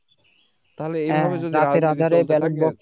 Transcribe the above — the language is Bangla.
হ্যাঁ রাতের আধারে ব্যালট বক্স